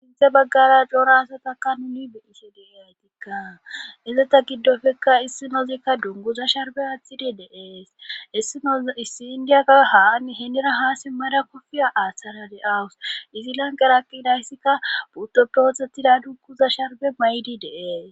sinthe baggara dora asatakka nuni beise deiy aytikka izata giddofekka issi nozekka dunguza sharbe aththidi deees issinoz issi indiyaka haan henira haasi mmada kofiya aaththara de awus izi lanqeraaqidayssikka putoprotetida dunguza sharbe may7di deees